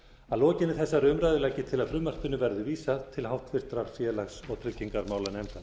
að lokinni þessari umræðu legg ég til að frumvarpinu verði vísað til háttvirtrar félags og tryggingamálanefndar